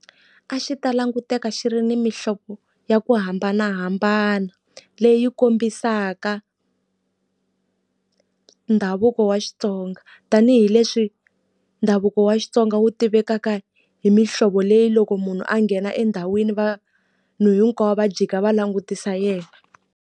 A xi ta languteka xi ri ni mihlovo ya ku hambanahambana leyi kombisaka ndhavuko wa Xitsonga. Tanihi leswi ndhavuko wa Xitsonga wu tivekaka hi mihlovo leyi loko munhu a nghena endhawini vanhu hinkwavo va jika va langutisa yena.